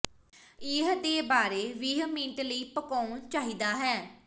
ਇਹ ਦੇ ਬਾਰੇ ਵੀਹ ਮਿੰਟ ਲਈ ਪਕਾਉਣ ਚਾਹੀਦਾ ਹੈ